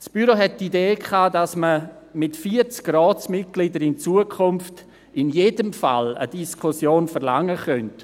Das Büro hatte die Idee, dass man in Zukunft mit 40 Ratsmitgliedern in jedem Fall eine Diskussion verlangen könnte.